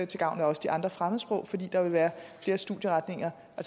til gavn men også de andre fremmedsprog fordi der vil være flere studieretninger